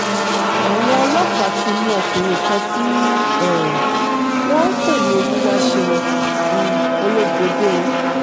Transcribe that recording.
àwọn ọlọ́pàá ti mú ọkùnrin kan tí um wọ́n ń pè ní olùwàṣẹ́un um olóbòde o